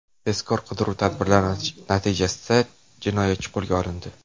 Tezkor qidiruv tadbirlari natijasida jinoyatchi qo‘lga olindi.